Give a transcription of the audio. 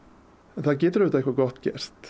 en það getur auðvitað eitthvað gott gerst